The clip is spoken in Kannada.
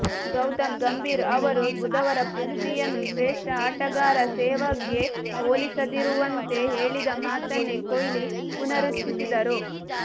ಗೌತಮ್ ಗಂಭೀರ್ ಅವರು ಬುಧವಾರ ಪೃಥ್ವಿಯನ್ನು ಶ್ರೇಷ್ಠ ಆಟಗಾರ ಸೆಹ್ವಾಗ್ ಗೆ ಹೋಲಿಸದಿರುವಂತೆ ಹೇಳಿದ ಮಾತನ್ನೇ ಕೊಹ್ಲಿ ಪುನರುಚ್ಚರಿಸಿದರು